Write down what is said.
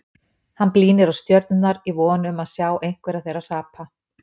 Hann blínir á stjörnurnar í von um að sjá einhverja þeirra hrapa.